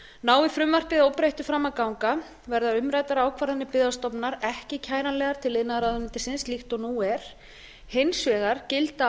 nái frumvarpið óbreytt fram að ganga verða umræddar ákvarðanir byggðastofnunar ekki kæranlegar til iðnaðarráðuneytisins líkt og nú er hins vegar gilda